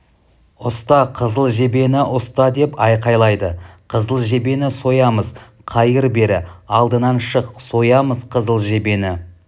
ұста қызыл жебені ұста деп айқайлайды қызыл жебені соямыз қайыр бері алдынан шық соямыз қызыл жебені